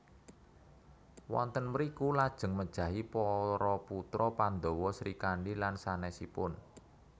Wonten mriku lajeng mejahi para putra Pandhawa Srikandi lan sanèsipun